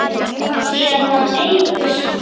Sína eigin veislu.